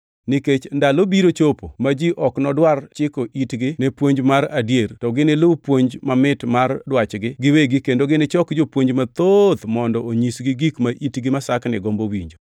Nikech ndalo biro chopo ma ji ok nodwar chiko itgi ni puonj mar adier to giniluw puonj mamit mar dwachgi giwegi kendo ginichok jopuonj mathoth mondo onyisgi gik ma itgi masakni gombo winjo.